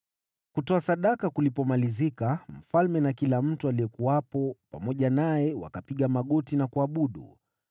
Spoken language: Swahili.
Kutoa sadaka kulipomalizika, mfalme na kila mtu aliyekuwepo pamoja naye wakapiga magoti na kuabudu.